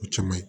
O caman ye